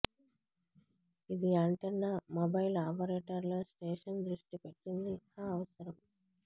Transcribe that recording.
ఇది antenna mobile ఆపరేటర్లు station దృష్టిపెట్టింది ఆ అవసరం